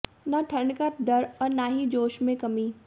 न ठंड का डर और न ही जोश में कमी